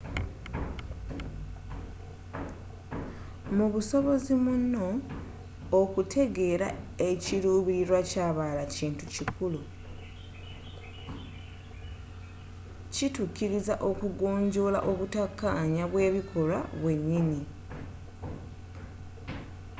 mu busobozi muno okutegeera ekiruubilirwa kyabalala kintu kikulu kitukkiriza okugonjola obuttakkanya bwebikolwa byennyini